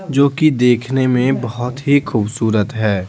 जो कि देखने में बहुत ही खूबसूरत है।